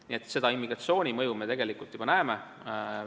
Nii et immigratsiooni mõju me tegelikult näeme.